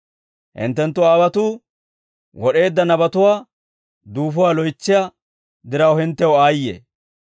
«Hinttenttu aawotuu wod'eedda nabatuwaa duufuwaa loytsiyaa diraw hinttew aayye!